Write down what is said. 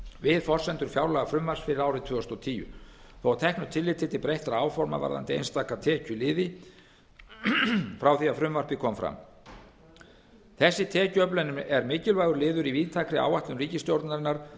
við forsendur fjárlagafrumvarps fyrir árið tvö þúsund og tíu þó að teknu tilliti til breyttra áforma varðandi einstaka tekjuliði frá því að frumvarpið kom fram þessi tekjuöflun er mikilvægur liður í víðtækri áætlun ríkisstjórnarinnar